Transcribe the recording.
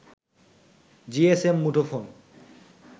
GSM মুঠোফোন